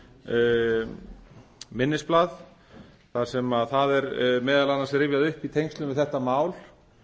utanríkismálaráðuneytisins minnisblað þar sem það er meðal annars rifjað upp í tengslum við þetta mál